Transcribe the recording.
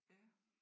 Ja